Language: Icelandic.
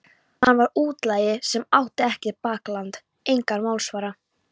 Hann var útlagi sem átti ekkert bakland, engan málsvara.